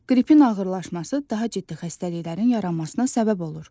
Qripin ağırlaşması daha ciddi xəstəliklərin yaranmasına səbəb olur.